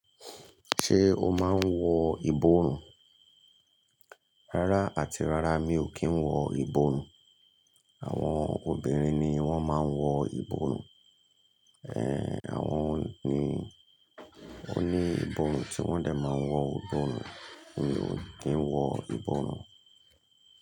Ṣé o máa ń wọ ìborùn? Rárá àti rárá mi ò kí ń wọ ìborùn. Àwọn obìnrin ni wọ́n máa ń wọ ìbọrùn. Ehn, àwọn ni ó ní ìborùn tí wọ́n dẹ̀ máa wọ̀ ìborùn. Èmi ò kí ń wọ ìborùn.